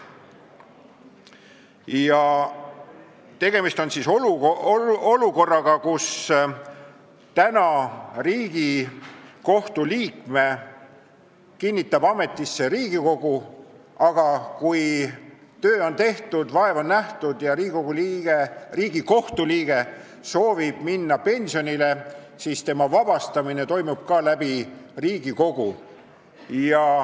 Praegu kinnitab Riigikohtu liikme ametisse Riigikogu ning kui töö on tehtud, vaev nähtud ja Riigikohtu liige soovib minna pensionile, siis tema ametist vabastamine toimub ka Riigikogus.